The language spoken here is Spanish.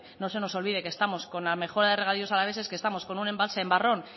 no se nos olvide que estamos con la mejora de regadíos alaveses que estamos con un embalse en barrón